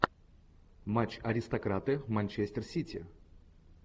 матч аристократы манчестер сити